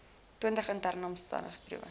twintig interne omsendbriewe